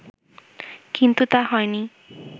কিন্তু তা হয়নি